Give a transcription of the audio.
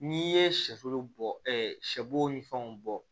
N'i ye sɛfo bɔ ɛ sɛbo ni fɛnw bɔ